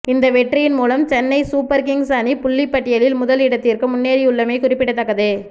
இந்த வெற்றியின்மூலம் Chennai Super Kings அணி புள்ளிப்பட்டியலில் முதல் இடத்திற்கு முன்னேறியுள்ளமை குறிப்பிடத்தக்கது